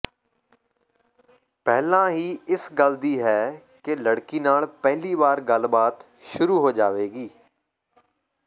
ਪਹਿਲਾਂ ਹੀ ਇਸ ਗੱਲ ਦੀ ਹੈ ਕਿ ਲੜਕੀ ਨਾਲ ਪਹਿਲੀ ਵਾਰ ਗੱਲਬਾਤ ਸ਼ੁਰੂ ਹੋ ਜਾਵੇਗੀ